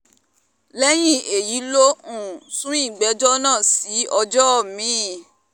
lẹ́yìn èyí ló um sún ìgbẹ́jọ́ sí ọjọ́ mi-ín